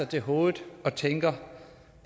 til hovedet og tænker